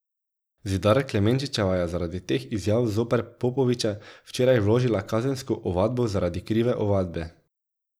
Zidar Klemenčičeva je zaradi teh izjav zoper Popoviča včeraj vložila kazensko ovadbo zaradi krive ovadbe.